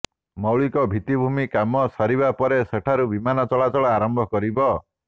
ମୌଳିକ ଭିତ୍ତିଭୂମି କାମ ସରିବା ପରେ ସେଠାରୁ ବିମାନ ଚଳାଚଳ ଆରମ୍ଭ କରିବ